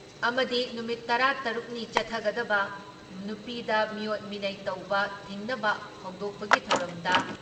ꯑꯃꯗꯤ ꯅꯨꯃꯤꯠ ꯇꯔꯥ ꯇꯔꯨꯛ ꯅꯤ ꯆꯠꯊꯒꯗꯕ, ꯅꯨꯄꯤꯗ ꯃꯤꯑꯣꯠ ꯃꯤꯅꯩ ꯇꯧꯕ ꯊꯤꯡꯅꯕ ꯍꯧꯗꯣꯛꯄꯒꯤ ꯊꯧꯔꯝꯗ